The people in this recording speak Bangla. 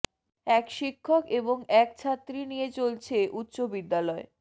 এক শিক্ষক এবং এক ছাত্রী নিয়ে চলছে উচ্চ বিদ্যালয়